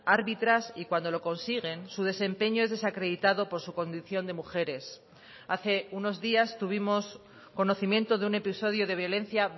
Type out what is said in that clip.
árbitras y cuando lo consiguen su desempeño es desacreditado por su condición de mujeres hace unos días tuvimos conocimiento de un episodio de violencia